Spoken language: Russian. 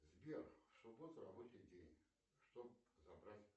сбер в субботу рабочий день чтоб забрать